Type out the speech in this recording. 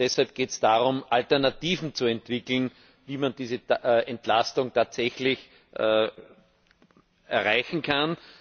Deshalb geht es darum, Alternativen zu entwickeln, wie man diese Entlastung tatsächlich erreichen kann.